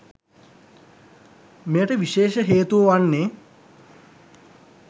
මෙයට විශේෂ හේතුව වන්නේ